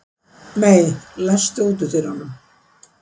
Mey, læstu útidyrunum.